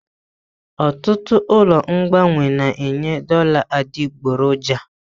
Ọtụtụ ụlọ ọrụ mgbanwe na-enye dollar adịgboroja.